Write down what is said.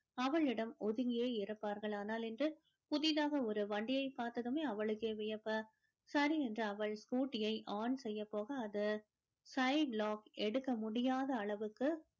அவளிடம் ஒதுங்கியே இருப்பார்கள் ஆனால் இன்று புதிதாக ஒரு வண்டியை பார்த்ததுமே அவளுக்கே வியப்பு சரி என்று அவள் scooty யை on செய்ய போக அது side lock எடுக்க முடியாத அளவுக்கு